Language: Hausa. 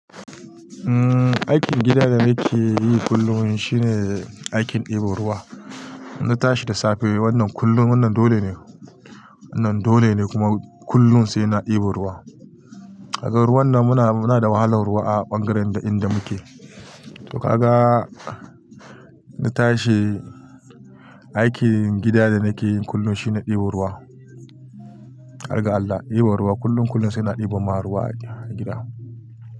Umm aikin gida da nake yi kullum shine aikin ɗebo ruwa. Na tashi da safe wannan kullum, wannan dole ne, wannan dole ne kuma kullun sai na ɗebo ruwa. A kan ruwan nan muna, muna da wahalar ruwa a ɓangaren inda muke. To ka ga na tashi, aikin gida da nake yin kullum shine ɗebo ruwa. Har ga Allah, ɗi ba ruwa kullun kullun sai na ɗiba ma ruwa gida.